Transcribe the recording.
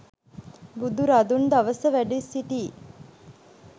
බුදුරදුන් දවස වැඩ සිටි